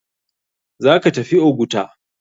Zaka tafi oguta?